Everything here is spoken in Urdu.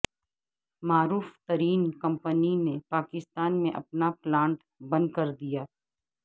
معروف ترین کمپنی نے پاکستا ن میں اپناپلانٹ بندکردیا